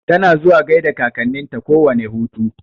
Tana zuwa gaida kakanninta kowane hutu.